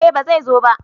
Eh ba zai zo ba